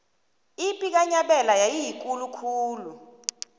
ipi kanyabela yayiyikulu khulu